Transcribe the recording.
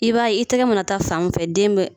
I b'a ye i tɛgɛ mana ta fan min fɛ den bɛ